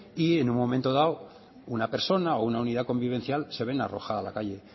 y en un momento dado una persona o una unidad convivencial se ven arrojada a la calle